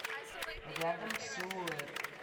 рядом силуэт